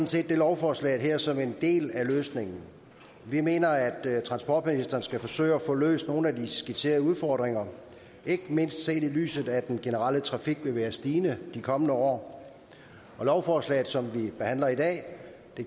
set det lovforslag her som en del af løsningen vi mener at transportministeren skal forsøge at få løst nogle af de skitserede udfordringer ikke mindst set i lyset af at den generelle trafik vil være stigende i de kommende år og lovforslaget som vi behandler i dag